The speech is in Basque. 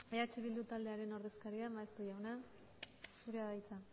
eh bildu taldearen ordezkaria maeztu jauna zurea da hitza